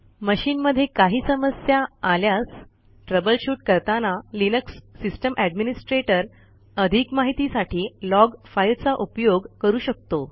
मशीनमध्ये काही समस्या आल्यास ट्रबल शूट करताना लिनक्स सिस्टम एडमिनिस्ट्रेटर अधिक माहितीसाठी लॉग फाईलचा उपयोग करू शकतो